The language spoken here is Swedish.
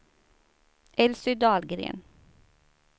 Elsy Dahlgren